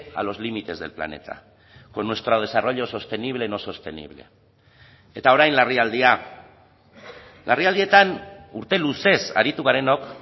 a los límites del planeta con nuestro desarrollo sostenible no sostenible eta orain larrialdia larrialdietan urte luzez aritu garenok